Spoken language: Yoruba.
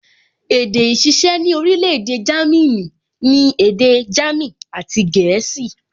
Èdè ìṣiṣẹ́ ní orílẹ̀-èdè Jámínì ni èdè jámìn àti gẹ̀ẹ́sì